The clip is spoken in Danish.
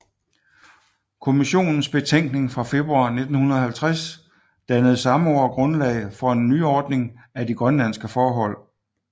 Kommissionens betænkning fra februar 1950 dannede samme år grundlag for en nyordning af de grønlandske forhold